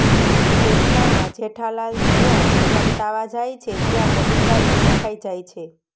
એટલામાં જેઠાલાલ જ્યાં સંતાવા જાય છે ત્યાં બબીતાજી દેખાઈ જાય છે